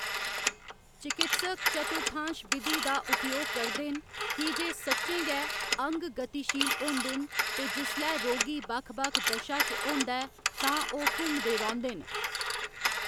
चकित्सक चतुर्थांश बिधि दा उपयोग करदे न की जे सच्चें गै, अंग गतिशील होंदे न ते जिसलै रोगी बक्ख बक्ख दशा च होंदा ऐ तां ओह्‌‌ घुमदे रौंह्‌‌‌दे न।